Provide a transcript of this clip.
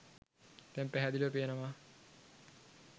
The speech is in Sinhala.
දැන් පැහැදිලිව පේනවා.